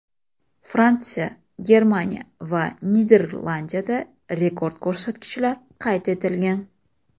Fransiya, Germaniya va Niderlandiyada rekord ko‘rsatkichlar qayd etilgan.